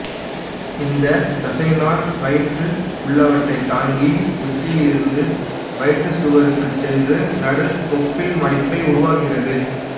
இந்த தசைநாண் வயிற்று உள்ளறையைத் தாங்கி உச்சியிலிருந்து வயிற்றுச்சுவருக்குச் சென்று நடு தொப்புள் மடிப்பை உருவாக்குகிறது